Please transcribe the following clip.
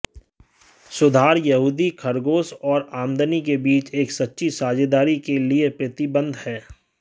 सुधार यहूदी खरगोश और आमदनी के बीच एक सच्ची साझेदारी के लिए प्रतिबद्ध हैं